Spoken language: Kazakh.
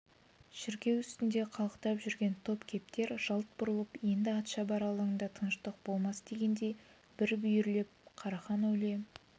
шіркеу үстінде қалықтап жүрген топ кептер жалт бұрылып енді атшабар алаңында тыныштық болмас дегендей бір бүйірлеп қарахан әулие